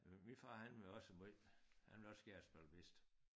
Øh min far har var også måj han ville også gerne spille whist